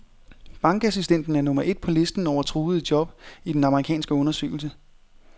Bankassistenten er nummer et på listen over truede job i den amerikanske undersøgelse.